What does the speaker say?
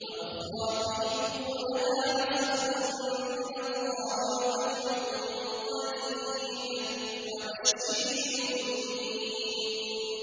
وَأُخْرَىٰ تُحِبُّونَهَا ۖ نَصْرٌ مِّنَ اللَّهِ وَفَتْحٌ قَرِيبٌ ۗ وَبَشِّرِ الْمُؤْمِنِينَ